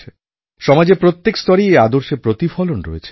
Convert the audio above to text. সমাজের প্রত্যেক স্তরেই এই আদর্শের প্রতিফলন রয়েছে